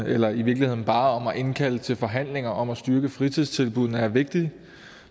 eller i virkeligheden bare om at indkalde til forhandlinger om at styrke fritidstilbuddene er vigtigt